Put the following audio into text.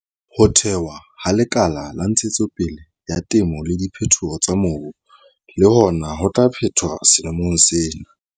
Ho thewa ha Lekala la Ntshetsopele ya Temo le Diphetoho tsa Mobu le hona ho tla phethwa selemong sena.